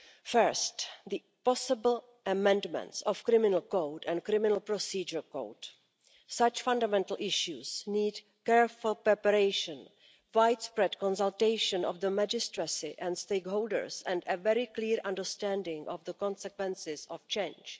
First, the possible amendments of the criminal code and the criminal procedure code such fundamental issues need careful preparation, widespread consultation of the magistracy and stakeholders, and a very clear understanding of the consequences of change.